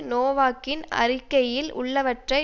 நொவாக்கின் அறிக்கையில் உள்ளவற்றை